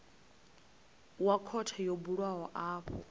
wa khothe yo bulwaho afho